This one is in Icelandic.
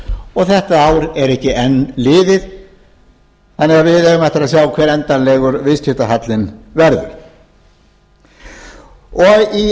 og þetta ár er ekki enn liðið þannig að við eigum eftir að sjá hver endanlegur viðskiptahalli verður í